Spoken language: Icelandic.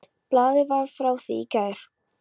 Blaðið var frá því í gær.